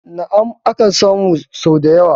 Na'am, akan samu sau da yawa